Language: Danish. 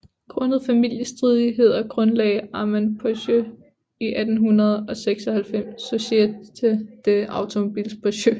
Grundet familiestridigheder grundlagde Armand Peugeot i 1896 Société des Automobiles Peugeot